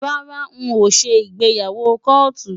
Rárá n ò ṣe ìgbéyàwó kóòtù.